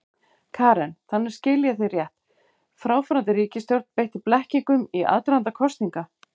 Karen: Þannig, skil ég þig rétt, fráfarandi ríkisstjórn beitti blekkingum í aðdraganda kosninga?